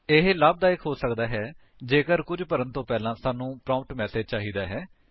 ਇਹ ਲਾਭਦਾਇਕ ਹੋ ਸਕਦਾ ਹੈ ਜੇਕਰ ਕੁੱਝ ਭਰਨ ਤੋਂ ਪਹਿਲਾਂ ਸਾਨੂੰ ਪ੍ਰੋਂਪਟ ਮੈਸੇਜ ਚਾਹੀਦਾ ਹੈ